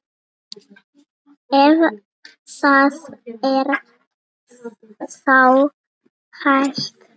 Ef það er þá hægt.